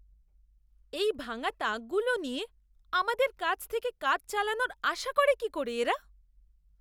এই ভাঙা তাকগুলো নিয়ে আমাদের কাছ থেকে কাজ চালানোর আশা করে কি করে এরা?